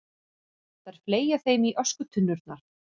Þær fleygja þeim í öskutunnurnar.